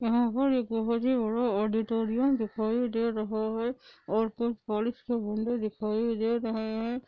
दिखाई दे रहा है और कोई बारिश के बुँदे दिखाई दे रहे है।